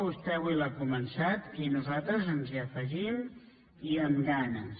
vostè avui l’ha començat i nosaltres ens hi afegim i amb ganes